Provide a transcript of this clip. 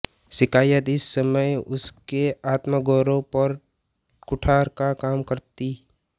शिकायत इस समय उसके आत्मगौरव पर कुठार का काम करती